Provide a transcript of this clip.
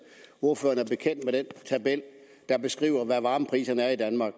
ordføreren er bekendt med den tabel der beskriver hvad varmepriserne er i danmark